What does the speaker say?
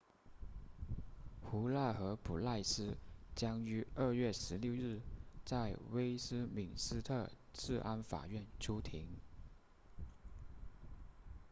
胡纳和普赖斯将于2月16日在威斯敏斯特治安法院出庭